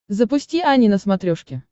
запусти ани на смотрешке